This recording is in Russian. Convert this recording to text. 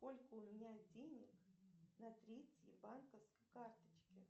сколько у меня денег на третьей банковской карточке